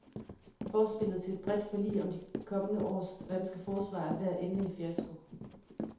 Forspillet til et bredt forlig om de kommende års danske forsvar er ved at ende i fiasko.